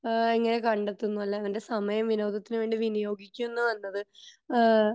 ഏഹ്ഹ് എങ്ങനെ കണ്ടെത്തുന്നു അല്ലെ തന്റെ സമയം വിനോദത്തിന് വേണ്ടി വിനിയോഗിക്കുന്നു എന്നത് ഏഹ്ഹ്